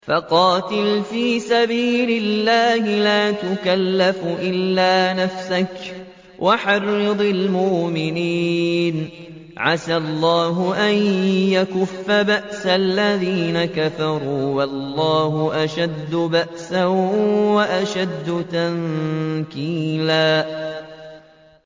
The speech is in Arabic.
فَقَاتِلْ فِي سَبِيلِ اللَّهِ لَا تُكَلَّفُ إِلَّا نَفْسَكَ ۚ وَحَرِّضِ الْمُؤْمِنِينَ ۖ عَسَى اللَّهُ أَن يَكُفَّ بَأْسَ الَّذِينَ كَفَرُوا ۚ وَاللَّهُ أَشَدُّ بَأْسًا وَأَشَدُّ تَنكِيلًا